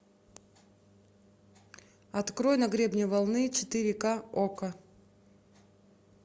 открой на гребне волны четыре к окко